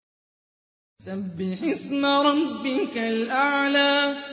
سَبِّحِ اسْمَ رَبِّكَ الْأَعْلَى